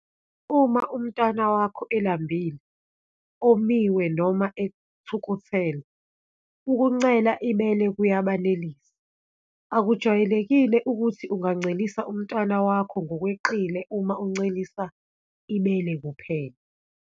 Uma umntwana wakho elambile, omiwe noma ethukuthele, ukuncela ibele kuyabenelisa. Akujwayelekile ukuthi ungancelisa umntwana wakho ngokweqile uma umncelisa ibele kuphela.